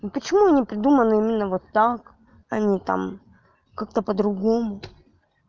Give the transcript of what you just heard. ну почему они придуманы именно вот так а не там как-то по другому